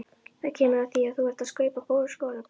Það kemur að því að þú þarft að kaupa skólabækur.